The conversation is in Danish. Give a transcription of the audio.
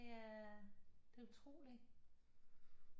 Det er utroligt